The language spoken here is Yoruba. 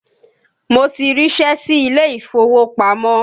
Mo ti ríṣẹ́ sí ilé ìfowópamọ́